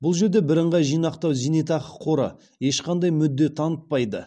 бұл жерде біріңғай жинақтау зейнетақы қоры ешқандай мүдде танытпайды